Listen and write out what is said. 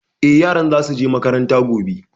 Eh, yaran za su je makaranta gobe